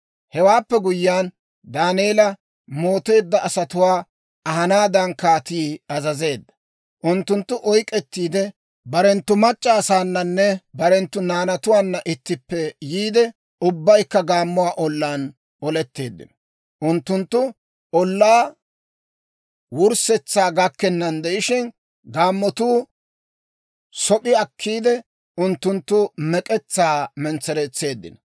Hewaappe guyyiyaan, Daaneela mooteedda asatuwaa ahanaadan kaatii azazeedda. Unttunttu oyk'k'ettiide, barenttu mac'c'a asaananne barenttu naanatuwaanna ittippe yiide, ubbaykka gaammuwaa ollaan oletteeddino. Unttunttu ollaa wurssetsaa gakkennan de'ishshin, gaammotuu sop'i akkiide, unttunttu mek'etsaa mentsereetseeddino.